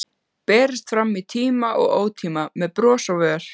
Berist fram í tíma og ótíma, með bros á vör.